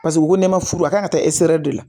Paseke u ko ne ma furu a kan ka taa zɛri